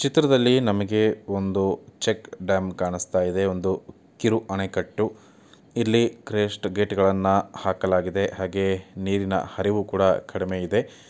ಚಿತ್ರದಲ್ಲಿ ನಮಗೆ ಒಂದು ಚೆಕ್ ಡ್ಯಾಂ ಕಾಣಿಸುತ್ತಿದೆ ಒಂದು ಕಿರು ಅಣೆಕಟ್ಟುಇಲ್ಲಿ ಕ್ರಿಸ್ಟ್ ಗೇಟ್ ಗಳನ್ನ ಹಾಕಲಾಗಿದೆ ಹಾಗೆ ನೀರಿನ ಹರಿವು ಕೂಡ ಕಡಿಮೆ ಇದೆ.